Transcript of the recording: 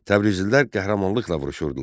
Təbrizlilər qəhrəmanlıqla vuruşurdular.